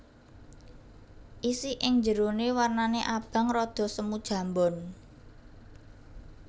Isi ing jeroné wernané abang rada semu jambon